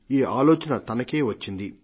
ఈ ఆలోచన తనకే వచ్చింది